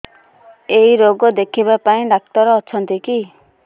ଏଇ ରୋଗ ଦେଖିବା ପାଇଁ ଡ଼ାକ୍ତର ଅଛନ୍ତି କି